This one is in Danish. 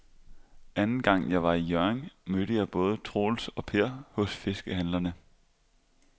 Anden gang jeg var i Hjørring, mødte jeg både Troels og Per hos fiskehandlerne.